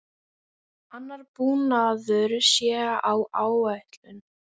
Annar búnaður sé á áætlun.